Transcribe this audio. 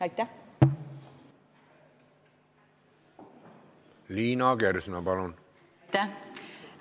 Aitäh!